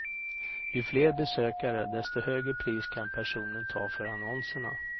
Ju fler besökare, desto högre pris kan personen ta för annonserna.